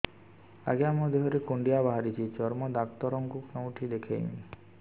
ଆଜ୍ଞା ମୋ ଦେହ ରେ କୁଣ୍ଡିଆ ବାହାରିଛି ଚର୍ମ ଡାକ୍ତର ଙ୍କୁ କେଉଁଠି ଦେଖେଇମି